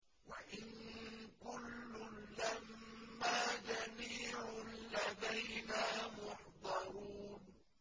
وَإِن كُلٌّ لَّمَّا جَمِيعٌ لَّدَيْنَا مُحْضَرُونَ